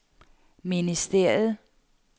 ministeriet